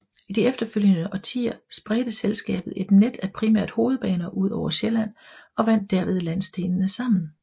I de følgende årtier spredte selskabet et net af primært hovedbaner udover Sjælland og bandt derved landsdelene sammen